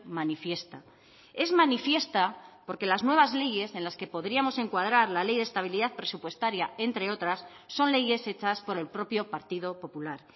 manifiesta es manifiesta porque las nuevas leyes en las que podríamos encuadrar la ley de estabilidad presupuestaria entre otras son leyes hechas por el propio partido popular